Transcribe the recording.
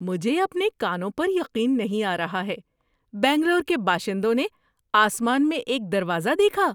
مجھے اپنے کانوں پر یقین نہیں آ رہا ہے! بنگلور کے باشندوں نے آسمان میں ایک دروازہ دیکھا!